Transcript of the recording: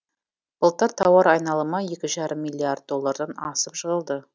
былтыр тауар айналымы екі жарым миллиард доллардан асып жығылды